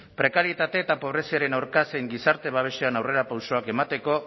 prekarietate eta pobreziaren aurka zein gizarte babesean aurrerapausoak emateko